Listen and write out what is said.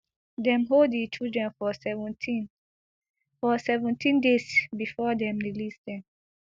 dem hold di children for seventeen for seventeen days before dem release dem